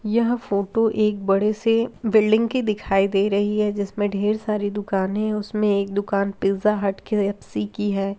यह फोटो एक बड़े से बिल्डिंग की दिखाई दे रही है जिसमे ढेर सारी दुकाने हैं उसमे एक दुकान पिज़्ज़ा हट के.फ.सी. की है।